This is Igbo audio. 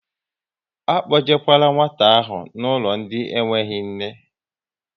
Akpojekwala nwata ahụ n'ụlọ ndị nweghị nne!